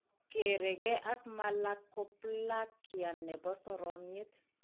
Kereke ak malakoplakia ne po soroomny'eet.